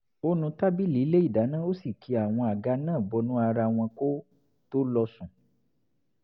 ó nu tábìlì ilé ìdáná ó sì ki àwọn àga náà bọnú ara wọn kó tó lọ sùn